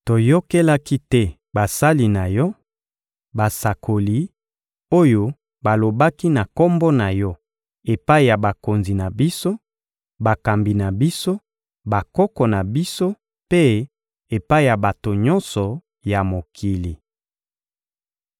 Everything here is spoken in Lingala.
Toyokelaki te basali na Yo, basakoli, oyo balobaki na Kombo na Yo epai ya bakonzi na biso, bakambi na biso, bakoko na biso mpe epai ya bato nyonso ya mokili.